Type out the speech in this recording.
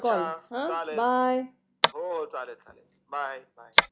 अच्छ चालेल bye bye.